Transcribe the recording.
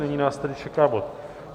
Nyní nás tedy čeká bod